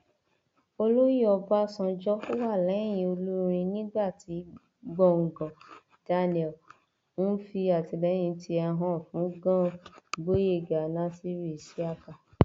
olóyè ọbànjọ wà lẹyìn olúrin nígbà tí gbọngàn daniel ń fi àtìlẹyìn tiẹ hàn fún gann gboyega nasir isiaka